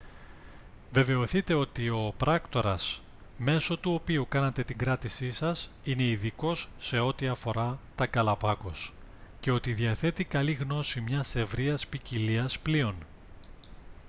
βεβαιωθείτε ότι ο πράκτορας μέσω του οποίου κάνατε την κράτησή σας είναι ειδικός σε ό,τι αφορά τα γκαλαπάγκος και ότι διαθέτει καλή γνώση μιας ευρείας ποικιλίας πλοίων